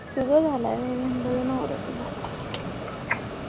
तुझा झालाय होय मी म्हणलं तुझ्या नवऱ्याचा झालाय